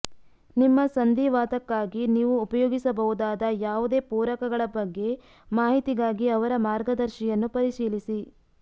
ನಿಮ್ಮ ಸಂಧಿವಾತಕ್ಕಾಗಿ ನೀವು ಉಪಯೋಗಿಸಬಹುದಾದ ಯಾವುದೇ ಪೂರಕಗಳ ಬಗ್ಗೆ ಮಾಹಿತಿಗಾಗಿ ಅವರ ಮಾರ್ಗದರ್ಶಿಯನ್ನು ಪರಿಶೀಲಿಸಿ